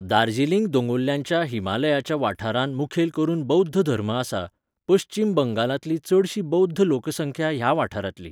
दार्जिलींग दोंगुल्ल्यांच्या हिमालयाच्या वाठारांत मुखेल करून बौध्द धर्म आसा, पश्चीम बंगालांतली चडशी बौध्द लोकसंख्या ह्या वाठारांतली.